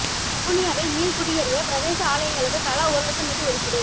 வவுனியாவில் மீள்குடியேறிய பிரதேச ஆலயங்களுக்கு தலா ஒரு லட்சம் நிதி ஒதுக்கீடு